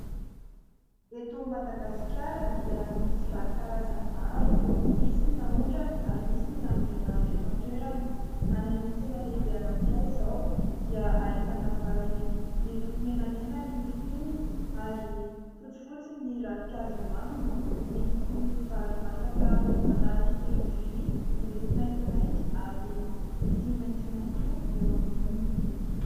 Eto Madagasikara dia misy vary karazany maro. Misy ny naondrana ary misy ny nambolena avy eto an-toerana. Any amin'ny tsena lehibe anankiray izao dia ahitana vary miloko menamena ny fonony ary fotsifotsy ny ravin-kazo eo aminy. Misy vary masaka anaty lovia miloko maintimainty ary misy maitsomaitso eo amboniny.